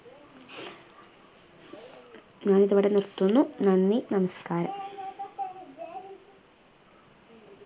ഞാനിതിവിടെ നിർത്തുന്ന. നന്ദി. നമസ്കാരം